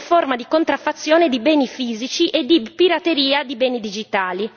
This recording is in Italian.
forma di contraffazione di beni fisici e di pirateria di beni digitali.